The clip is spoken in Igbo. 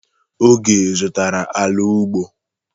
Oge zụtara ala ugbo.